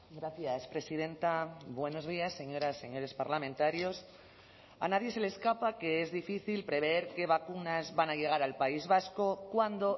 gracias presidenta buenos días señoras señores parlamentarios a nadie se le escapa que es difícil prever qué vacunas van a llegar al país vasco cuándo